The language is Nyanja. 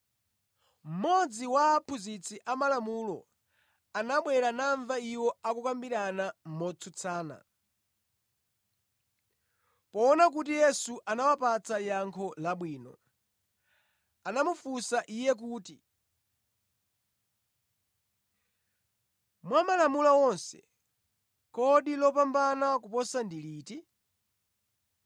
Mmodzi wa aphunzitsi amalamulo anabwera namva iwo akukambirana motsutsana. Poona kuti Yesu anawapatsa yankho labwino, anamufunsa Iye kuti, “Mwa malamulo onse, kodi lopambana koposa ndi liti?”